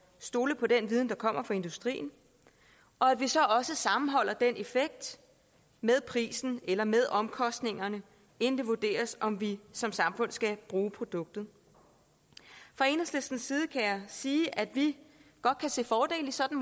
stole på den viden der kommer fra industrien og at vi så sammenholder den effekt med prisen eller med omkostningerne inden det vurderes om vi som samfund skal bruge produktet fra enhedslistens side kan jeg sige at vi godt kan se fordele i sådan